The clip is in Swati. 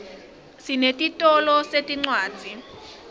sinetitolo setincwadzi